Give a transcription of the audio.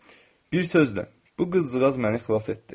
Bir sözlə, bu qızılığaz məni xilas etdi.